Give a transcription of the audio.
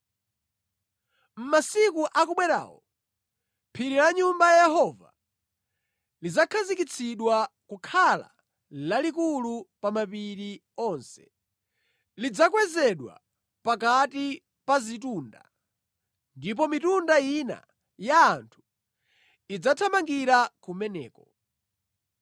Mʼmasiku otsiriza, phiri la Nyumba ya Yehova adzalikhazikitsa kukhala lalitali kuposa mapiri ena onse. Lidzaonekera pamwamba pa mapiri ena onse, ndipo anthu amitundu yonse adzathamangira kumeneko.